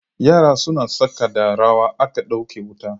Yara suna tsaka da rawa aka dauke wuta.